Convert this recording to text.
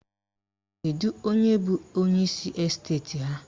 Kedu onye bụ onyeisi esteti ha?